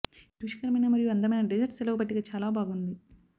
ఈ రుచికరమైన మరియు అందమైన డెజర్ట్ సెలవు పట్టిక చాలా బాగుంది